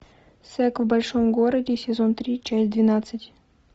секс в большом городе сезон три часть двенадцать